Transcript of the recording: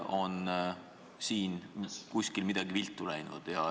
Vahest on kuskil midagi viltu läinud?